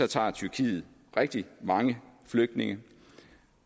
tager tyrkiet rigtig mange flygtninge